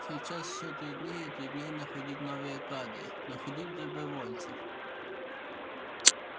сейчас все труднее и труднее находить новые кадры находить добровольцев